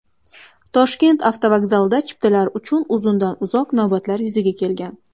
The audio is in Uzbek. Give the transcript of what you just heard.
Toshkent avtovokzalida chiptalar uchun uzundan-uzoq navbatlar yuzaga kelgan .